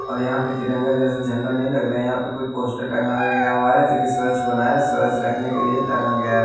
और यहाँ पे तिरंगा जैसे झंडा नहीं लग रहा है यहाँ पे कोई पोस्टर टांगा गया हुआ है जो कि स्वच्छ बनाया स्वच्छ रखने के लिए टांगा गया है।